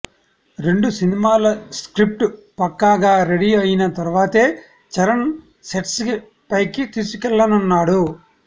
రెండు సినిమాల స్క్రిప్ట్ పక్కాగా రెడీ అయిన తర్వాతే చరణ్ సెట్స్ పైకి తీసుకెళ్ళనున్నాడు